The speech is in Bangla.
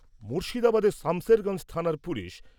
মুর্শিদাবাদের সামশেরগঞ্জ থানার পুলিশ।